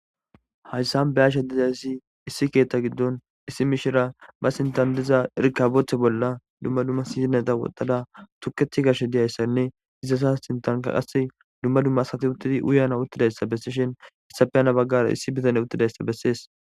Hayssan be yashe dizayssi issi keetta giddon issi miishira ba sintandiza irkabothe bolla dumma dumma sizineta wotala tukethi gash diyayssanne izasa sintanka qasse dumma dumma sati uttidi uyana uttidayssa bessishen issafeyana baggara issi bitane uttidayssa bessees.